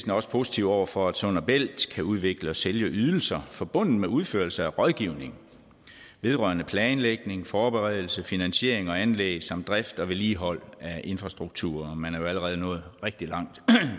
er også positive over for at sund og bælt kan udvikle og sælge ydelser forbundet med udførelse af rådgivning vedrørende planlægning forberedelse finansiering og anlæg samt drift og vedligehold af infrastrukturer og man er jo allerede nået rigtig langt